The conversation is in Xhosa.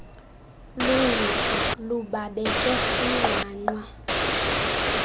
lungiso lubabeke kwinqwanqwa